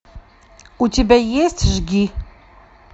у тебя есть жги